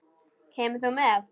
Kemur þú með?